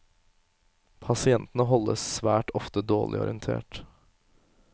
Pasientene holdes svært ofte dårlig orientert.